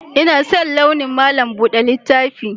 Ina son launin malam buɗe littaf